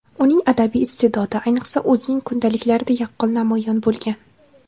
Uning adabiy iste’dodi, ayniqsa, o‘zining kundaliklarida yaqqol namoyon bo‘lgan.